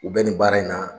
U bɛ nin baara in na